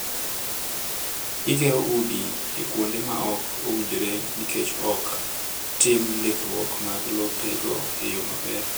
Gigero udi e kuonde ma ok owinjore nikech ok tim ndikruok mag lope go e yo maber.